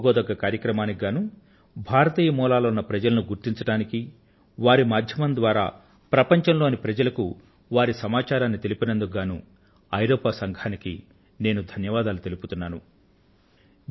ఇటువంటి చెప్పుకోదగ్గ కార్యక్రమానికి గాను భారతీయ మూలాలు ఉన్న ప్రజలను గుర్తించడానికీ వారి మాధ్యమం ద్వారా ప్రపంచం లోని ప్రజలకు వారి సమాచారాన్ని తెలిపినందుకు గానూ యూరోపియన్ యూనియన్ కు నేను ధన్యవాదాలు తెలుపుతున్నాను